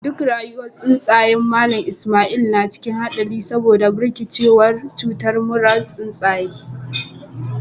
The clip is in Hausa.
Duk rayuwar tsuntsayen Mallam Ismail na cikin hadari saboda barkewar cutar murar tsuntsaye.